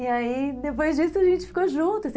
E aí depois disso a gente ficou junto.